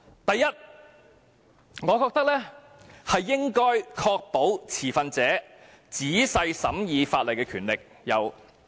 第一，我覺得應該確保持份者有仔細審議法例的權力。